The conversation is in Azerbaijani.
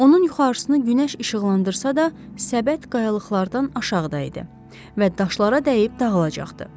Onun yuxarısını günəş işıqlandırsa da, səbət qayalıqlardan aşağıda idi və daşlara dəyib dağılacaqdı.